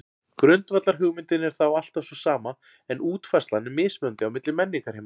Grundvallarhugmyndin er þá alltaf sú sama en útfærslan er mismunandi á milli menningarheima.